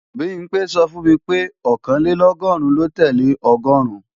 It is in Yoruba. Bimpé sọ fún mi pé Ọ̀kànlélọ́gọ́rùn lo tẹ́lẹ̀ ọgọ́ọ̀rún